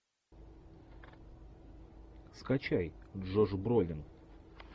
скачай джош бролин